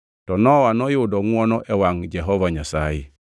To Nowa noyudo ngʼwono e wangʼ Jehova Nyasaye.